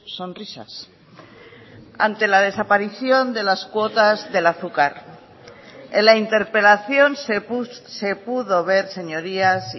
sonrisas ante la desaparición de las cuotas del azúcar en la interpelación se pudo ver señorías